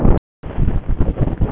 Ínes, hvernig er veðrið í dag?